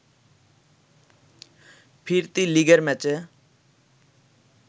ফিরতি লেগের ম্যাচে